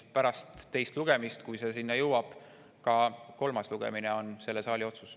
Pärast teist lugemist, kui asi selleni jõuab, on ka kolmas lugemine selle saali otsus.